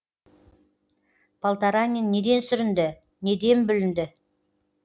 полторанин неден сүрінді неден бүлінді